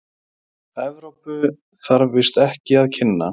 Evrópu, þarf víst ekki að kynna.